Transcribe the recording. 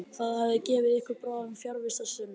Það hefði gefið ykkur báðum fjarvistarsönnun.